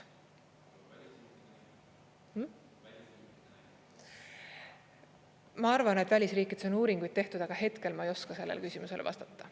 Ma arvan, et välisriikides on uuringuid tehtud, aga hetkel ma ei oska sellele küsimusele vastata.